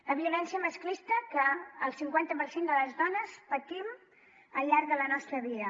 la violència masclista que el cinquanta per cent de les dones patim al llarg de la nostra vida